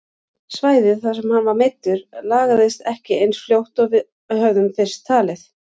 Svæðið þar sem hann var meiddur lagaðist ekki eins fljótt og við höfðum fyrst talið.